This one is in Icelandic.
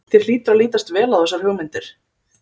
Þér hlýtur að lítast vel á þessar hugmyndir?